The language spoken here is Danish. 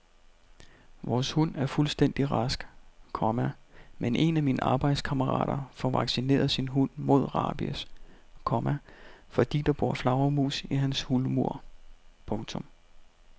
Vores hund er fuldstændig rask, komma men en af mine arbejdskammerater får vaccineret sin hund mod rabies, komma fordi der bor flagermus i hans hulmur. punktum